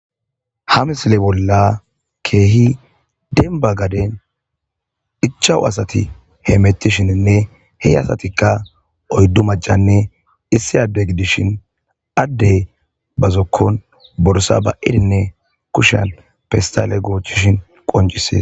Ha misile bolla keehi denba gaden ichawu asati he mettishininne he asatikka oyddu majjanne issi adde gidishin addey ba zokkon borsa ba7idinne kushan pistale goochishin qoncises.